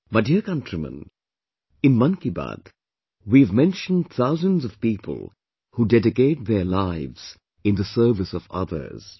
My dear countrymen, in Mann Ki Baat, we have mentioned thousands of people who dedicate their lives in the service of others